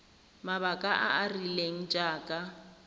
mabaka a a rileng jaaka